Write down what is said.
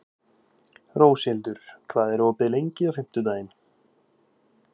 Róshildur, hvað er opið lengi á fimmtudaginn?